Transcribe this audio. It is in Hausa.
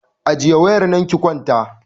Ajiye wayar nan ki kwanta!